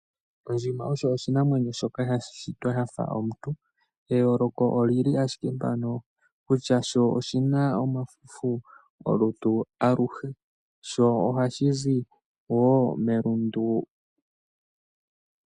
Ondjima osho oshinamwenyo shoka sha shitwa sha fa omuntu. Eyooloko oli li ashike mpano kutya, sho oshi na omafufu olutu aluhe, sho oha shi zi wo melundu.